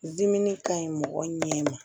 Dimi ka ɲi mɔgɔ ɲɛ ma